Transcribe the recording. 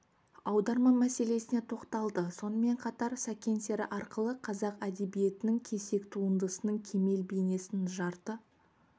аударма мәселесіне тоқталды сонымен қатар сәкен сері арқылы қазақ әдебиетінің кесек туындысының кемел бейнесін жарты